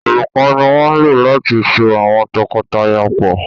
òrùka ní wón ló láti sọ awọn tọkọtaya pọ.